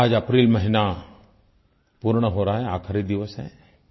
आज अप्रैल महीना पूर्ण हो रहा है आखिरी दिवस है